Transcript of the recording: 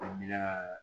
Faamuya